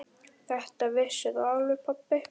Þetta vissir þú alveg pabbi.